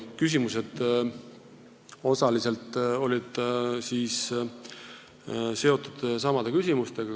Küsimused olid osaliselt samad, mida siin küsiti.